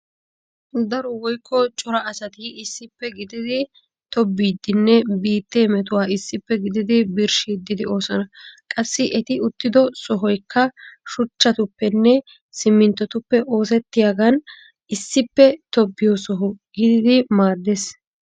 Daro woykko cora asati issippe gididi tobbiiddinne biittee metuwaa issippe gididi birshshiiddi de'oosona. Qassi eti uttido sohoykka shuchchatuppenne simminttotuppe oosettiyogan issippe tobbiyo soho gididi maaddeees.